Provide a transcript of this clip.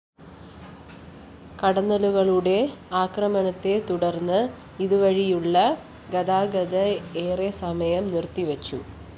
കടന്നലുകളുടെ ആക്രമണത്തെ തുടര്‍ന്ന് ഇതുവഴിയുള്ള ഗതാഗതം ഏറെസമയം നിര്‍ത്തിവെച്ചു